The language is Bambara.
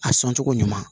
A sɔn cogo ɲuman